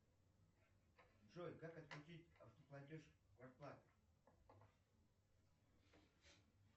джой как отключить автоплатеж квартплаты